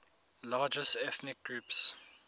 largest ethnic groups